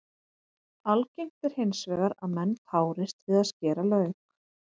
Algengt er hins vegar að menn tárist við að skera lauk.